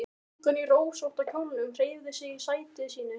Stúlkan í rósótta kjólnum hreyfði sig í sæti sínu.